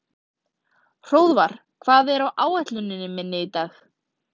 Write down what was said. Hróðvar, hvað er á áætluninni minni í dag?